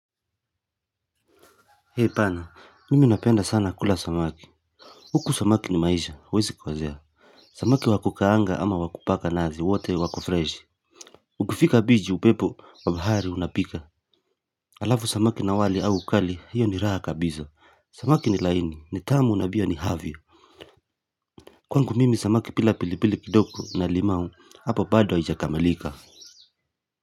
Hei pana, mimi napenda sana kula samaki. Huku samaki ni maisha, wezi kosea. Samaki wakukaanga ama wakupaka nazi, wate wako freshi. Ukifika beach upepo, wa bahari unapika. Alavu samaki na wali au ukali, hiyo ni raha kabiza Samaki ni laini, ni tamu na bia ni havo. Kwangu mimi samaki bila pilipili kidogo na limau, hapo baado haijakamilika.